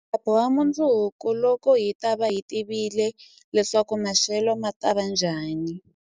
Hi ta boha mundzuku, loko hi ta va hi tivile leswaku maxelo ma ta va njhani.